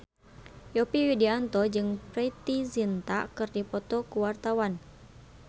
Yovie Widianto jeung Preity Zinta keur dipoto ku wartawan